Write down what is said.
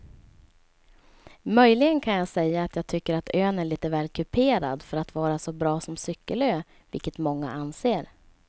Möjligen kan jag säga att jag tycker att ön är lite väl kuperad för att vara så bra som cykelö vilket många anser.